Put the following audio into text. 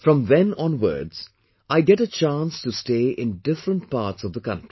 From then onwards, I get a chance to stay in different parts of the country